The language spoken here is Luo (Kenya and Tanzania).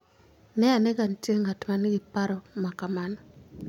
Ne ane ka nitie ng'at ma nigi paro ma kamano.